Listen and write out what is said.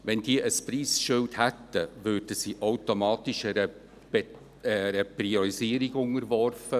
Wenn diese ein Preisschild hätten, würden sie automatisch einer Priorisierung unterworfen.